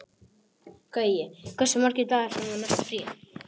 Gaui, hversu margir dagar fram að næsta fríi?